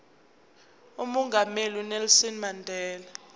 umongameli unelson mandela